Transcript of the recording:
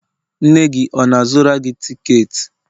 nne gị ọ na-azụra gị tiketi?